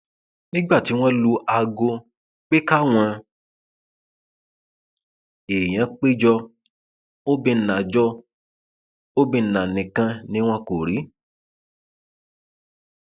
nígbà tí wọn lu aago pé káwọn èèyàn pé jọ obìnnà jọ obìnnà nìkan ni wọn kò rí